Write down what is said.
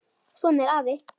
Svona er afi.